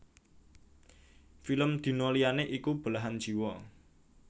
Film Dina liyané iku Belahan Jiwa